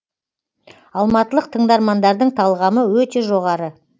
алматылық тыңдармандардың талғамы өте жоғары